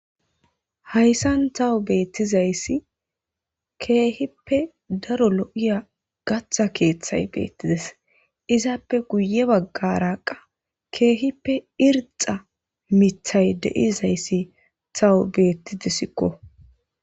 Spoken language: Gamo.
Hayssan tawu beettizayssi keehippe daro lo7iya gatha keeththay beettides izaappe guye baggaraqa keehippe irxa mithay deizayssi tawu beettidesikko